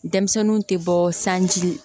Denmisɛnninw tɛ bɔ sanji la